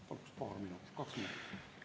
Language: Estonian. Paluks paar minutit, kaks minutit lisaaega.